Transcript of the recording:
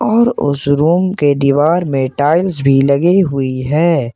और उसे रूम के दीवार में टाइल्स भी लगी हुई है।